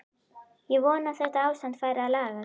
Ég vona að þetta ástand fari að lagast.